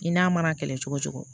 I n'a mana kɛlɛ cogo cogo